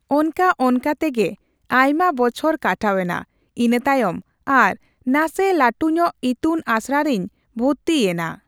ᱚᱱᱠᱟ ᱚᱱᱠᱟ ᱛᱮᱜᱮ ᱟᱭᱢᱟ ᱵᱚᱪᱷᱚᱨ ᱠᱟᱴᱟᱣᱮᱱᱟ ᱤᱱᱟᱹᱛᱟᱭᱚᱢ ᱟᱨ ᱱᱟᱥᱮ ᱞᱟᱹᱴᱩᱧᱚᱜ ᱤᱛᱩᱱ ᱟᱥᱲᱟ ᱨᱮᱧ ᱵᱷᱚᱨᱛᱤᱭᱮᱱᱟ ᱾